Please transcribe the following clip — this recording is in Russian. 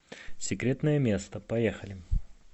секретное место поехали